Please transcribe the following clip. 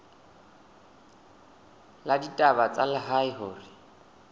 la ditaba tsa lehae hore